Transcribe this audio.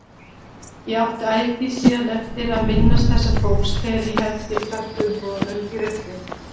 Ég átti ætíð síðan eftir að minnast þessa fólks þegar ég henti plastumbúðum í ruslið.